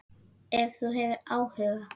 Ef þú hefur áhuga.